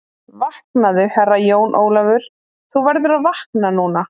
Vaknaðu, Herra Jón Ólafur, þú verður að vakna núna.